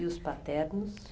E os paternos?